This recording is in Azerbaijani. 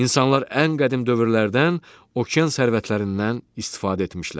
İnsanlar ən qədim dövrlərdən okean sərvətlərindən istifadə etmişlər.